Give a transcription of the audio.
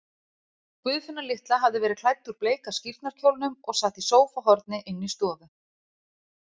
Guðfinna litla hafði verið klædd úr bleika skírnarkjólnum og sat í sófahorni inni í stofu.